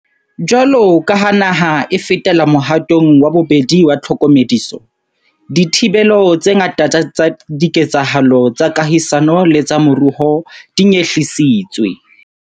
Jwaloka ha naha e fetela mohatong wa bobedi wa tlhokomediso, dithibelo tse ngata tsa diketsahalo tsa kahisano le tsa moruo di nyehlisitswe.